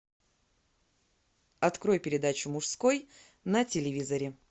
открой передачу мужской на телевизоре